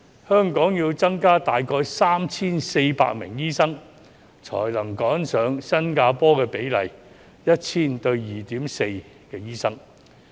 香港需要增加大概 3,400 名醫生，才能趕上新加坡的比例，即每 1,000 人有 2.4 名醫生。